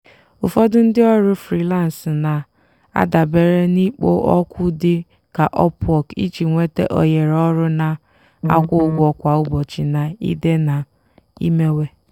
ụfọdụ ndị ọrụ frilansị na-adabere n'ikpo okwu dị ka upwork iji nweta ohere ọrụ na-akwụ ụgwọ kwa ụbọchị na ide na imewe.